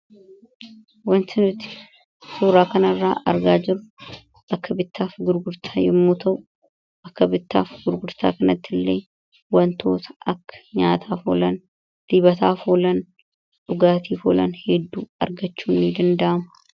wanti nuti suuraa kana irraa argaa jirru bakka bittaaf gurgurtaa yommuu ta'u bakka bittaa fi gurgurtaa kanatti illee wantoota akka nyaataaf oolan, dibataaf oolan, dhugaatiif oolan, hedduu argachuun ni danda'ama.